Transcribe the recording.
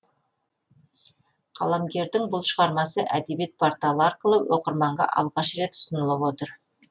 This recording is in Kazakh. қаламгердің бұл шығармасы әдебиет порталы арқылы оқырманға алғаш рет ұсынылып отыр